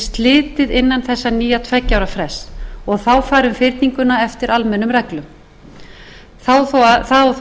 slitið innan þessa nýja tveggja ára frests og þá færi um fyrninguna eftir almennum reglum það á þó